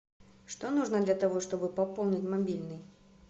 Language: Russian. что нужно для того чтобы пополнить мобильный